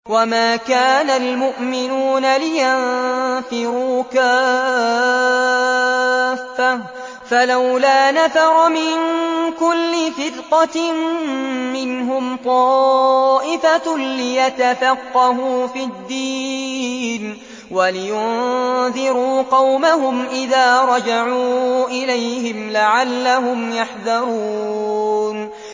۞ وَمَا كَانَ الْمُؤْمِنُونَ لِيَنفِرُوا كَافَّةً ۚ فَلَوْلَا نَفَرَ مِن كُلِّ فِرْقَةٍ مِّنْهُمْ طَائِفَةٌ لِّيَتَفَقَّهُوا فِي الدِّينِ وَلِيُنذِرُوا قَوْمَهُمْ إِذَا رَجَعُوا إِلَيْهِمْ لَعَلَّهُمْ يَحْذَرُونَ